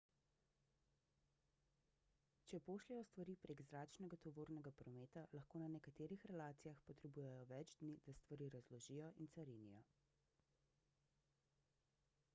če pošljejo stvari prek zračnega tovornega prometa lahko na nekaterih relacijah potrebujejo več dni da stvari razložijo in carinijo